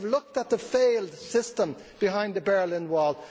I have looked at the failed system behind the Berlin Wall.